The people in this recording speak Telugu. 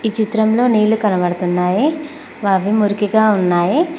ఈ చిత్రంలో నీళ్లు కనబడుతున్నాయి అవి మురికిగా ఉన్నాయి.